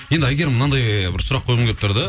енді әйгерім мынандай бір сұрақ қойғым келіп тұр да